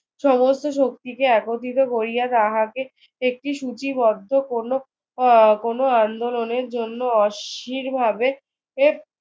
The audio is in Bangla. সমস্ত শক্তিকে একত্রিত করিয়া তাহাকে একটি সূচিবদ্ধ কোনো আহ কোনো আন্দোলনের জন্য অস্থিরভাবে এর